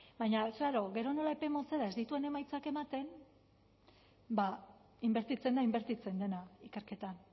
baina klaro gero nola epe motzera ez dituen emaitzak ematen inbertitzen da inbertitzen dena ikerketan